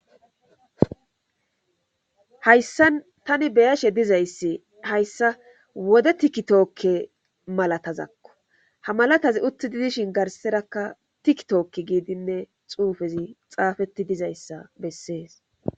Hayssan tani beyashe dizayssi hayssa wode tikki tookke malatazakko ha malatazi uttidi dishshin garserakka tikki tookki giidinne xuufezi xaafeti dizayssa bessees